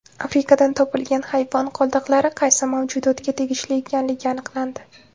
Afrikadan topilgan hayvon qoldiqlari qaysi mavjudotga tegishli ekanligi aniqlandi.